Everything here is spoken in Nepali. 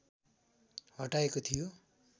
हटाइएको थियो